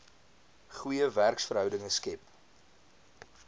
goeie werksverhoudinge skep